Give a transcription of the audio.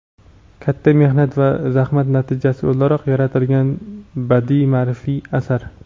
katta mehnat va zahmat natijasi o‘laroq yaratilgan badiiy-maʼrifiy asar.